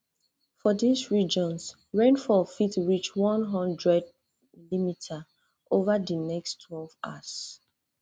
for dis regions rainfall fit reach one hundred mm ova di next twelve hours